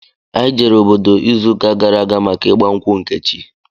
Anyị jere obodo izu ụka gara aga maka ịgba nkwụ Nkechi